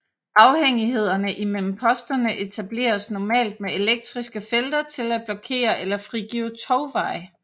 Afhængighederne imellem posterne etableredes normalt med elektriske felter til at blokere eller frigive togveje